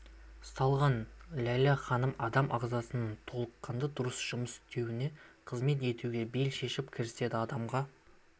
салған ләйлә ханым адам ағзасының толыққанды дұрыс жұмыс істеуіне қызмет етуге бел шешіп кіріседі адамға